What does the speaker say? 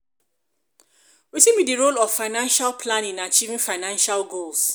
wetin be di role of financial planning in achieving financial goals?